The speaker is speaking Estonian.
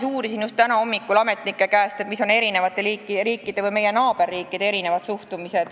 Uurisin just täna hommikul ametnikelt, missugune on teiste riikide, eelkõige meie naaberriikide suhtumine.